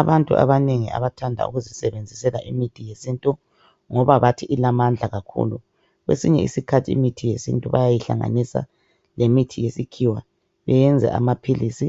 Abantu abanengi abathanda ukuzisebenzisela imithi yesintu ngoba bathi ilamandla kakhulu. Kwesinye isikhathi imithi yesintu bayayihlanganisa lemithi yesikhiwa iyenze amaphilisi.